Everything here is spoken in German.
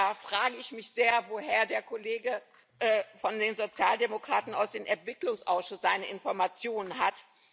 Da frage ich mich sehr, woher der Kollege von den Sozialdemokraten aus dem Entwicklungsausschuss seine Informationen hat.